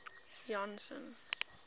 janson